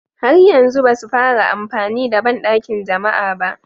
Har yanzu ba su fara amfani da bandakin jama'a ba